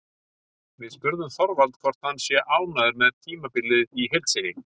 Við spurðum Þorvald hvort hann sé ánægður með tímabilið í heild sinni?